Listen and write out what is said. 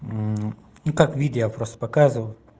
ну как видео я просто показываю